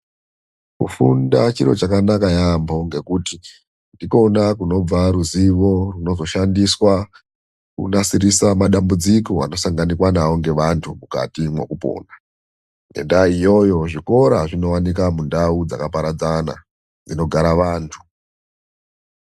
Kufunda chiro chakanaka yaampo ngekuti ndikona kunobva ruzivo runozoshandiswa kunasirisa madambudziko anosanganikwa navo nevantu mukati mwekupona. Ngendaa iyoyo zvikora zvinosanganikwa mundau dzakapaeadzana, dzinogara vantu.